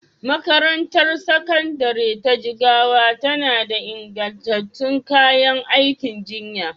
Makarantar Sakandare ta Jigawa tana da ingantattun kayan aikin jinya